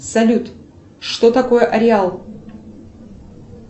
салют что такое ареал